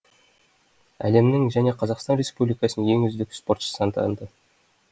әлемнің және қазақстан республикасының ең үздік спортшысы атанды